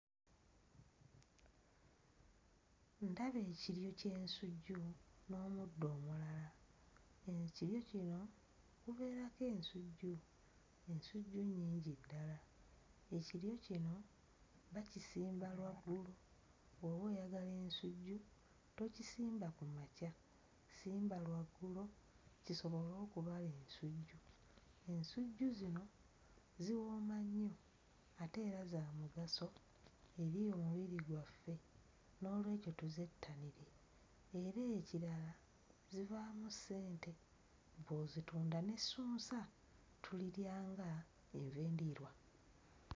Ndaba ekiryo ky'ensujju n'omuddo omulala, ekiryo kino kibeerako ensujju, ensujju nnyingi ddala, ekiryo kino bakisimba lwaggulo bw'oba oyagala ensujju tokisimba ku makya, simba lwa ggulo kisobole okubala ensujju. Ensujju zino ziwooma nnyo ate era za mugaso eri emibiri gyaffe. Noolwekyo tuzettanire era ekirala zivaamu ssente bw'ozitunda n'essunsa tulirya nga enva endiirwa.